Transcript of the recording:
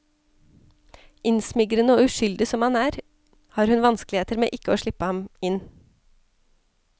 Innsmigrende og uskyldig som han er, har hun vanskeligheter med ikke å slippe ham inn.